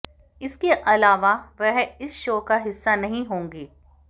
इसके अलवा वह इस शो का हिस्सा नही होगी